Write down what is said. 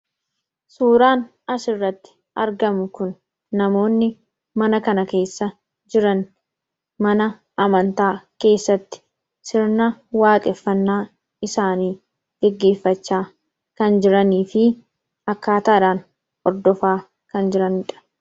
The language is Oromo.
Suuraan asirratti argamu kun namoonni mana kana keessa jiran, mana amantaa keessatti sirna waaqeffannaa isaanii gaggeeffachaa kan jiranii fi akkaataadhaan hordofaa kan jiranidha.